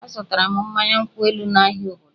Azụtara m mmanya nkwụ elu n'ahịa obodo